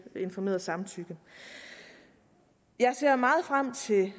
informerede samtykke jeg ser meget frem til